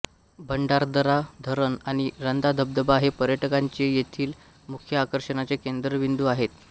भंडारदरा धरण आणि रंधा धबधबा हे पर्यटकांचे येथील मुख्य आकर्षणाचे केंद्रबिंदू आहेत